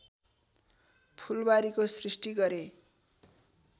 फूलबारीको सृष्टि गरे